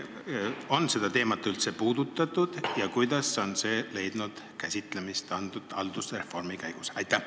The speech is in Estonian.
Kas seda teemat on üldse puudutatud ja kuidas on see leidnud käsitlemist haldusreformi käigus?